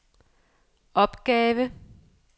opgave